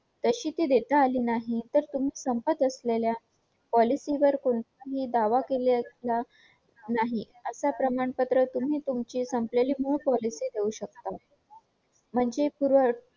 तशी ती देता आली नाही तर तुम्ही संपत असलेल्या policy वर तुम्ही दावा केला असता नाही असं प्रमाणपत्र तुम्ही तुमची संपलेली मूळ policy देऊ शकता